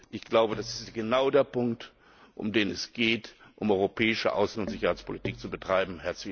Ich glaube, das ist genau der Punkt, um den es geht, um europäische Außen und Sicherheitspolitik zu betreiben.